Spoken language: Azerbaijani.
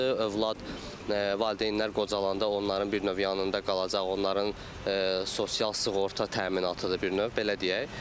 Övlad valideynlər qocalannda onların bir növ yanında qalacaq, onların sosial sığorta təminatıdır bir növ belə deyək.